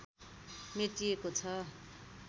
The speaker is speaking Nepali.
मेटिएको छ